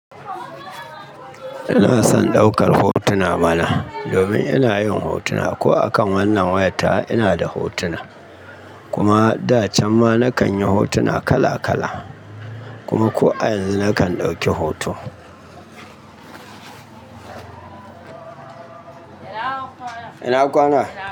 Ina son ɗaukar hotuna mana. Domin ina yin hotuna ko akan wannan wayan tawa ina da hotuna. Kuma da can ma na kan yi hotuna kala kala kuma ko a yanzu na kan ɗauki hoto. Ina kwana? Ina kwana?